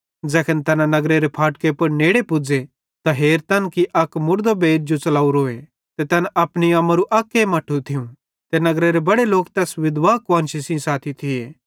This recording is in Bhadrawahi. ज़ैखन तैना नगरेरे फाटके पुड़ नेड़े पुज़े त हेरतन कि अक मुड़दो बेइर जो च़लेवरोए ते तैन अपनी अम्मारू अक्के मट्ठू थियूं ते नगरेरे बड़े लोक तैस विधवा कुआन्शी सेइं साथी थिये